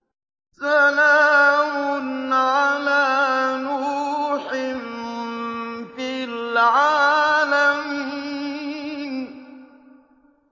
سَلَامٌ عَلَىٰ نُوحٍ فِي الْعَالَمِينَ